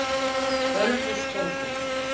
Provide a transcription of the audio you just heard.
Ölfusborgum